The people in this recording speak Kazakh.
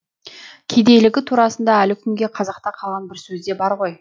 кедейлігі турасында әлі күнге қазақта қалған бір сөзде бар ғой